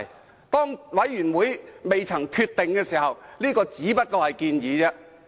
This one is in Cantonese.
在專責委員會作出決定前，這只是一項建議。